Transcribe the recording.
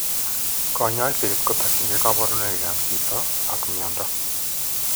Kanyoiset kotokyinkee kaborunoik ab chiito ak miondo